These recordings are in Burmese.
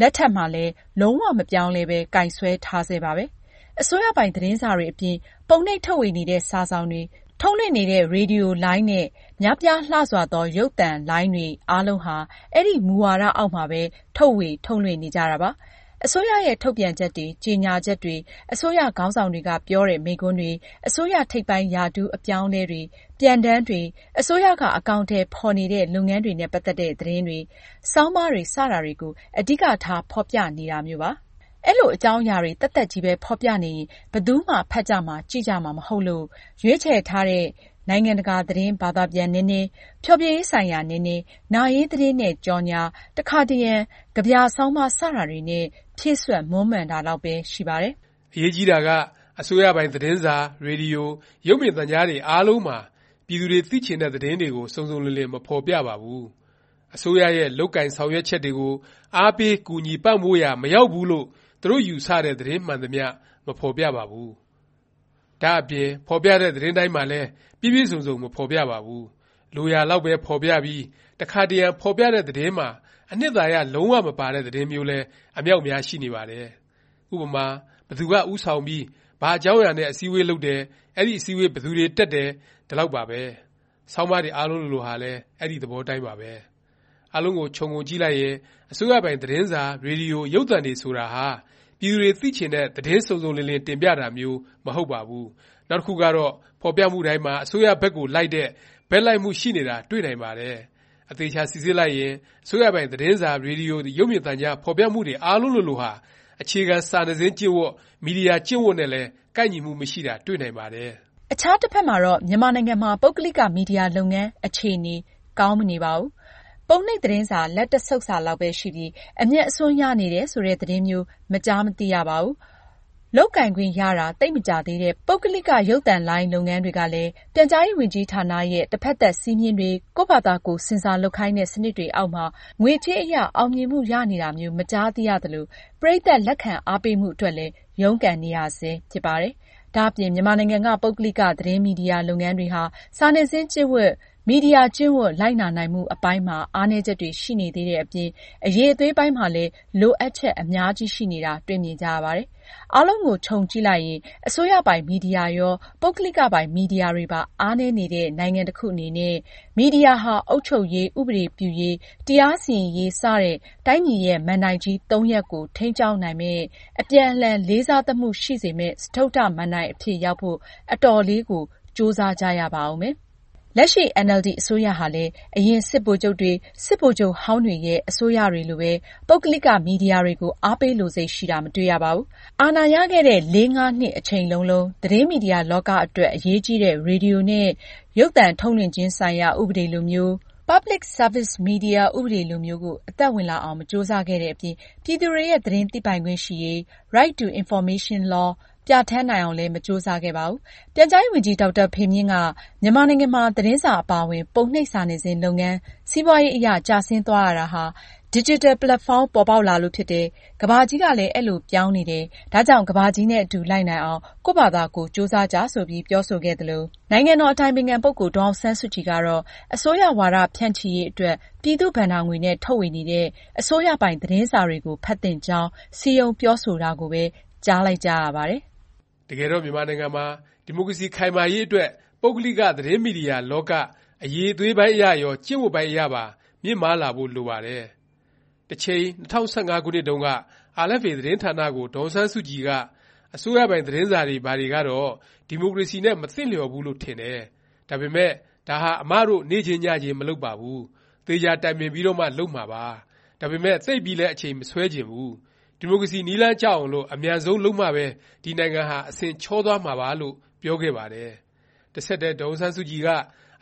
လက်ထက်မှာလည်း လုံး၀ မပြောင်းမလဲပဲ ကိုင်စွဲထားဆဲပါပဲ။ အစိုးရပိုင် သတင်းစာတွေအပြင်၊ ပုံနှိပ်ထုတ်ဝေနေတဲ့ စာစောင်တွေ၊ ထုတ်လွှင့်နေတဲ့ ရေဒီယိုလိုင်းနဲ့ များပြားလှစွာသော ရုပ်သံ ချယ်နယ်လိုင်းတွေ အားလုံးဟာ အဲဒီ မူဝါဒ အောက်မှာပဲ ထုတ်ဝေ၊ ထုတ်လွှင့်နေကြတာပါ။ အစိုးရရဲ့ ထုတ်ပြန်ချက်တွေ၊ ကြေညာချက်တွေ၊ အစိုးရ ခေါင်းဆောင်တွေက ပြောတဲ့ မိန့်ခွန်းတွေ၊ အစိုးရ ထိပ်ပိုင်းရာထူး အပြောင်းအလဲတွေ၊ ပြန်တမ်းတွေ၊ အစိုးရက အကောင်အထည် ဖော်နေတဲ့ လုပ်ငန်းတွေနဲ့ ပတ်သက်တဲ့ သတင်းတွေ၊ ဆောင်းပါးတွေ စတာတွေကို အဓိကထား ဖော်ပြနေတာမျိုးပါ။ အဲလို အကြောင်းအရာတွေ သက်သက်ချည်းပဲ ဖော်ပြနေရင် ဘယ်သူမှ ဖတ်ကြမှာ၊ ကြည့်ကြမှာ မဟုတ်လို့၊ ရွေးချယ်ထားတဲ့ နိုင်ငံတကာ သတင်းဘာသာပြန်နည်းနည်း၊ ဖျော်ဖြေရေးဆိုင်ရာ နည်းနည်း၊ နာရေးသတင်းနဲ့ ကြော်ငြာ၊ တစ်ခါတစ်ရံ ကဗျာ၊ ဆောင်းပါး စတာတွေနဲ့ ဖြည့်စွက်မွမ်းမံထားတာလောက်ပဲ ရှိပါတယ်။ အရေးကြီးတာက အစိုးရပိုင် သတင်းစာ၊ ရေဒီယို၊ ရုပ်မြင်သံကြားတွေ အားလုံးမှာ ပြည်သူတွေ သိချင်တဲ့ သတင်းတွေကို စုံစုံလင်လင် မဖော်ပြပါဘူး။ အစိုးရရဲ့ လုပ်ကိုင်ဆောင်ရွက်ချက်တွေကို အားပေး၊ ကူညီ ပံ့ပိုးရာ မရောက်တဲ့ သတင်းမှန်သမျှ မဖော်ပြပါဘူး။ ဒါ့အပြင် ဖော်ပြတဲ့ သတင်းတွေတိုင်းမှာလည်း ပြည့်ပြည့်စုံစုံ မဖော်ပြပါဘူး။ လိုရာလောက်ပဲ ဖော်ပြပြီး တစ်ခါတစ်ရံ ဖော်ပြတဲ့ သတင်းမှာ အနှစ်သာရ လုံး၀ မပါတဲ့ သတင်းမျိုးလည်း အမြောက်များ ရှိနေပါတယ်။ ဥပမာ- ဘယ်သူက ဦးဆောင်ပြီး၊ ဘာအကြောင်းအရာနဲ့ အစည်းအဝေးလုပ်တယ်၊ အဲဒီစည်းဝေး ဘယ်သူတွေ တက်တယ်၊ ဒီလောက်ပါပဲ။ ဆောင်းပါးတွေ အားလုံးလိုလိုဟာလဲ အဲဒီ သဘောအတိုင်းပါပဲ။ အားလုံးကို ခြုံကြည့်လိုက်ရင် အစိုးရပိုင် သတင်းစာ၊ ရေဒီယို၊ ရုပ်သံတွေ ဆိုတာဟာ ပြည်သူတွေ သိချင်တဲ့ သတင်းစုံစုံလင်လင် တင်ပြတာမျိုး မဟုတ်ပါဘူး။ နောက်တစ်ခုကတော့ ဖော်ပြမှုတိုင်းမှာ အစိုးရဘက်ကို လိုက်တဲ့ ဘက်လိုက်မှု ရှိနေတာ တွေ့နိုင်ပါတယ်။ အသေအခြာ စိစစ်လိုက်ရင် အစိုးရပိုင် သတင်းစာ၊ ရေဒီယို၊ ရုပ်မြင်သံကြား ဖော်ပြမှုတွေ အားလုံးလိုလိုဟာ အခြေခံ စာနယ်ဇင်း ကျင့်ဝတ်၊ မီဒီယာကျင့်ဝတ်နဲ့လည်း ကိုက်ညီမှု မရှိတာ တွေ့နိုင်ပါတယ်။ အခြားတစ်ဖက်မှာတော့ မြန်မာနိုင်ငံမှာ ပုဂ္ဂလိက မီဒီယာ လုပ်ငန်း အခြေအနေ ကောင်းမနေပါဘူး။ ပုံနှိပ် သတင်းစာ လက်တစ်ဆုတ်စာလောက်ပဲ ရှိပြီး အမြတ်အစွန်း ရနေတယ် ဆိုတဲ့ သတင်းမျိုး မကြားမသိရပါဘူး။ လုပ်ကိုင်ခွင့်ရတာ သိပ်မကြာသေးတဲ့ ပုဂ္ဂလိက ရုပ်သံချယ်နယ်လုပ်ငန်း တွေကလည်း ပြန်ကြားရေးဝန်ကြီးဌာနရဲ့ တစ်ဖက်သတ် စည်းမျဉ်းတွေ၊ ကိုယ့်ဖာသာကိုယ် ဆင်ဆာလုပ်ခိုင်းတဲ့ စနစ်တွေ အောက်မှာ ငွေကြေးအရ အောင်မြင်မှု ရနေတာမျိုး မကြားသိရသလို ပရိတ်သတ် လက်ခံအားပေးမှုအတွက်လည်း ရုန်းကန်နေရဆဲ ဖြစ်ပါတယ်။ ဒါ့အပြင် မြန်မာနိုင်ငံက ပုဂ္ဂလိက သတင်းမီဒီယာ လုပ်ငန်းတွေဟာ စာနယ်ဇင်းကျင့်ဝတ်၊မီဒီယာ ကျင့်ဝတ် လိုက်နာနိုင်မှု အပိုင်းမှာ အားနည်းချက်တွေ ရှိနေသေးတဲ့အပြင် အရည်အသွေးပိုင်းမှာလည်း လိုအပ်ချက် အများကြီးရှိနေတာ တွေ့မြင်ကြရပါတယ်။ အားလုံးကို ခြုံကြည့်လိုက်ရင် အစိုးရပိုင် မီဒီယာရော၊ ပုဂ္ဂလိကပိုင် မီဒီယာတွေပါ အားနည်းနေတဲ့ နိုင်ငံတစ်ခုအနေနဲ့ မီဒီယာဟာ အုပ်ချုပ်ရေး၊ ဥပဒေပြုရေး၊ တရားစီရင်ရေး စတဲ့ တိုင်းပြည်ရဲ့ မဏ္ဍိုင်ကြီး ၃ ရပ်ကို ထိန်းကျောင်းနိုင်မယ့်၊ အပြန်အလှန် လေးစားသမှုရှိစေမယ့် စတုတ္တမဏ္ဍိုင် အဖြစ်ရောက်ဖို့ အတော်လေးကို ကြိုးစားကြရပါဦးမယ်။ လက်ရှိ အင်န်အယ်လ်ဒီ အစိုးရဟာလည်း အရင် စစ်ဗိုလ်ချုပ်တွေ၊ စစ်ဗိုလ်ချုပ်ဟောင်းတွေရဲ့ အစိုးရတွေလိုပဲ ပုဂ္ဂလိက မီဒီယာတွေကို အားပေးလိုစိတ် ရှိတာ မတွေ့ရပါဘူး။ အာဏာရခဲ့တဲ့ ၄-၅ နှစ် အချိန်လုံးလုံး သတင်းမီဒီယာလောက အတွက် အရေးကြီးတဲ့ ရေဒီယိုနဲ့ ရုပ်သံထုတ်လွှင့်ခြင်းဆိုင်ရာ ဥပဒေလိုမျိုး public service media ဥပဒေလိုမျိုး ကို အသက်ဝင်လာအောင် မကြိုးစားခဲ့တဲ့အပြင် ပြည်သူတွေရဲ့ သတင်းသိပိုင်ခွင့်ရှိရေး Right to information law ပြဌာန်းနိုင်အောင်လည်း မကြိုးစားခဲ့ပါဘူး။ ပြန်ကြားရေးဝန်ကြီး ဒေါက်တာဖေမြင့်က မြန်မာနိုင်ငံမှာ သတင်းစာ အပါအဝင် ပုံနှိပ်စာနယ်ဇင်း လုပ်ငန်း စီးပွားအရ ကျဆင်းသွားရတာဟာ ဒီဂျစ်တယ် ပက်လက်ဖေါင်း ပေါ်ပေါက်လာလို့ ဖြစ်တယ်၊ ကမ္ဘာကြီးကလည်း အဲလို ပြောင်းနေတယ်၊ ဒါကြောင့် ကမ္ဘာကြီးနဲ့ အတူ လိုက်နိုင်အောင် ကိုယ့်ဖာသာကိုယ် ကြိုးစားကြ ဆိုပြီး ပြောဆိုခဲ့သလို၊ နိုင်ငံတော် အတိုင်ပင်ခံ ပုဂ္ဂိုလ် ဒေါ်အောင်ဆန်းစုကြည်ကတော့ အစိုးရ ဝါဒဖြန့်ချီရေး အတွက် ပြည်သူ့ဘဏ္ဍာငွေနဲ့ ထုတ်ဝေနေတဲ့ အစိုးရပိုင် သတင်းစာတွေကို ဖတ်သင့်ကြောင်း စည်းရုံးပြောဆိုတာကိုပဲ ကြားလိုက်ကြရပါတယ်။ တကယ်တော့ မြန်မာနိုင်ငံမှာ ဒီမိုကရေစီ ခိုင်မာရေးအတွက် ပုဂ္ဂလိက သတင်းမီဒီယာလောက အရည်အသွေးပိုင်းအရရော၊ ကျင့်ဝတ်ပိုင်းအရပါ မြင့်မားလာဖို့ လိုပါတယ်။ တစ်ချိန် ၂၀၁၅ ခုနှစ်တုန်းက RFA သတင်းဌာနကို ဒေါ်အောင်ဆန်းစုကြည်က “အစိုးရပိုင် သတင်းစာတွေ ဘာတွေကတော့ ဒီမိုကရေစီနဲ့ မသင့်လျော်ဘူးလို့ ထင်တယ်၊ ဒါပေမယ့် ဒါဟာ အမတို့ နေ့ချင်းညချင်းမလုပ်ပါဘူး၊ သေချာတိုင်ပင်ပြီးတော့မှ လုပ်မှာပါ၊ ဒါပေမယ့် သိပ်ပြီးလည်း အချိန် မဆွဲချင် ဘူး။ ဒီမိုကရေစီ နည်းလမ်းကျအောင်လို့ အမြန်ဆုံးလုပ်မှပဲ ဒီနိုင်ငံဟာ အဆင်ချောသွားမှာပါ” လို့ ပြောခဲ့ပါတယ်။ တဆက်တည်း ဒေါ်အောင်ဆန်းစုကြည်က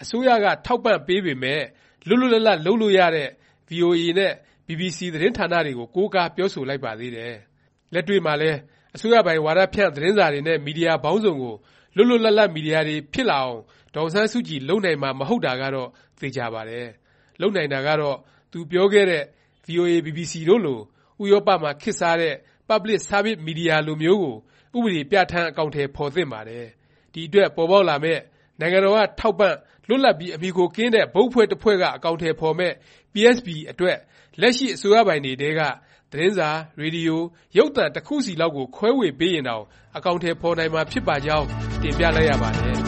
အစိုးရက ထောက်ပံ့ထားပေမယ့် လွတ်လွတ်လပ်လပ် လုပ်လို့ရတဲ့ VOA နဲ့ BBC သတင်းဌာနတွေကို ကိုးကား ပြောဆိုလိုက်ပါသေးတယ်။ လက်တွေ့မှာလည်း အစိုးရပိုင် ဝါဒဖြန့် သတင်းစာတွေနဲ့ မီဒီယာပေါင်းစုံကို လွတ်လွတ်လပ်လပ် မီဒီယာတွေ ဖြစ်လာအောင် ဒေါ်အောင်ဆန်းစုကြည် လုပ်နိုင်မှာ မဟုတ်တာကတော့ သေခြာပါတယ်။ လုပ်နိုင်တာကတော့ သူပြောခဲ့တဲ့ VOA, BBC တို့လို၊ ဥရောပမှာ ခေတ်စားတဲ့ public services media လိုမျိုးကို ဥပဒေပြဌာန်း အကောင်အထည် ဖော်သင့်ပါတယ်။ ဒီအတွက် ပေါ်ပေါက်လာမယ့် နိုင်ငံတော်က ထောက်ပံ့၊ လွတ်လပ်ပြီး အမှီအခိုကင်းတဲ့ ဘုတ်အဖွဲ့တစ်ဖွဲ့က အကောင်အထည် ဖော်မယ့် PSB အတွက် လက်ရှိ အစိုးရပိုင်တွေထဲက သတင်းစာ၊ ရေဒီယို၊ ရုပ်သံ တစ်ခုစီလောက်ကို ခွဲဝေပေးရင်တောင် အကောင်အထည် ဖော်နိုင်မှာ ဖြစ်ပါကြောင်း တင်ပြလိုက်ရပါတယ်